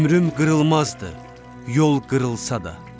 Ömrüm qırılmazdı yol qırılsa da.